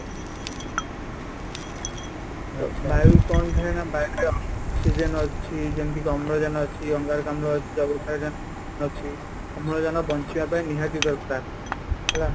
ବାୟୁ କ'ଣ ଥାଏ ନା ବାୟୁ ରେ oxygen ଅଛି ,ଯେମିତି କି ଅମ୍ଳଜାନ ଅଛି ଅଙ୍ଗାରକାମ୍ଳ ଅଛି ଯବକ୍ଷାରଜାନ ଅଛି ଅମ୍ଳଜାନ ବଞ୍ଚିବା ପାଇଁ ନିହାତି ଦରକାର ହେଲା